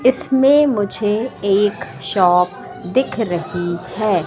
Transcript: इसमें मुझे एक शॉप दिख रही हैं।